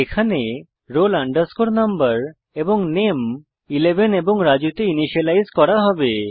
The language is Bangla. এখানে roll number এবং নামে 11 এবং রাজু তে ইনিসিয়েলাইজ করা হবে